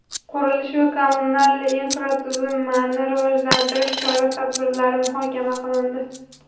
qurilish va kommunal infratuzilmani rivojlantirish chora-tadbirlari muhokama qilindi.